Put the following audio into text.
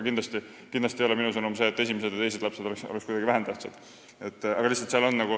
Kindlasti ei ole minu sõnum see, et esimesed või teised lapsed oleksid kuidagi vähem tähtsad.